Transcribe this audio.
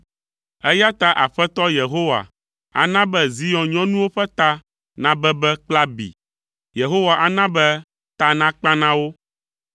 Eya ta Aƒetɔ Yehowa ana be Zion nyɔnuwo ƒe ta nabebe kple abi, Yehowa ana be ta nakpa na wo.”